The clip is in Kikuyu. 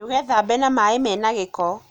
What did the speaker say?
Ndūgethambe na maī mena gīko.